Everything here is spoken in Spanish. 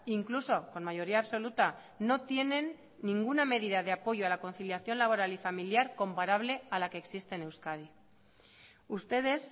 incluso con mayoría absoluta no tienen ninguna medida de apoyo a la conciliación laboral y familiar comparable a la que existe en euskadi ustedes